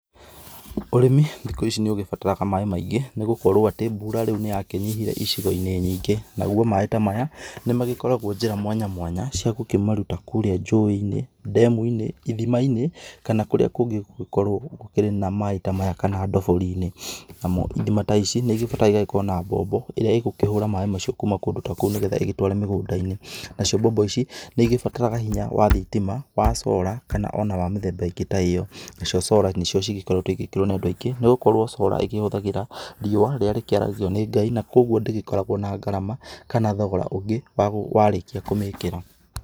Ũrĩmi, thikũ ici nĩũgĩbataraga maĩ maingĩ, nĩgũkorwo atĩ, mbura rĩu nĩyakĩnyihire icigo-inĩ nyingĩ. Naguo maĩ ta maya nĩmagĩkoragwo njĩra mwanya mwanya, ciagũkĩmaruta kũrĩa njũĩ-inĩ, ndemu-inĩ, ithima-inĩ, kana kũrĩa kũngĩ gũgũgĩkorwo gũkĩrĩ na maĩ ta maya, kana ndoborinĩ. Namo ithima ta ici, nĩigĩbataraga igagĩkorwo na mbombo, ĩrĩa ĩgũkĩhũra maĩ macio kuma kũndũ ta kũu nĩgetha ĩgĩtware mĩgũnda-inĩ. Nacio mbombo ici, nĩigĩbataraga hinya wa thitima, wa solars kana ona wa mĩthemba ĩngĩ ta ĩo. Nacio solar, nĩcio cĩgĩkoretwo igĩkĩrwo nĩ Andũ aingĩ, nĩgũkorwo solar ĩgĩkĩhũthagĩra riũa rĩrĩa rĩkĩaragio nĩ Ngai. Na koguo ndĩgĩkoragwo na ngarama, kana thogora ũngĩ wa gũ, warĩkia kũmĩkĩra.